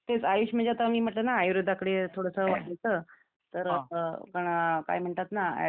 तेच आयुष म्हणजे आता मी म्हटल ना आयुर्वेदाकडे थोडसं होत, तर पण काय म्हणतात ना